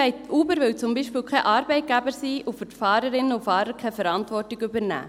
Uber will beispielsweise kein Arbeitgeber sein und für die Fahrerinnen und Fahrer keine Verantwortung übernehmen.